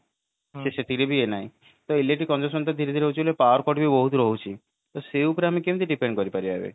ସେଥିରେ ବି ଇଏ ନାହିଁ ତ ସେଥିରେ ବି electric consumption ଟା ଧୀରେ ଧୀରେ ବାଢୁଛି ବୋଲି power cut ବି ବହୁତ ରହୁଛି ସେଇ ଉପରେ ଆମେ କେମିତି depend କରି ପାରିବା ଏବେ